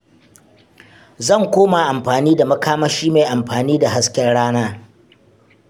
Zan koma amfani da makamashi mai amfani da hasken rana.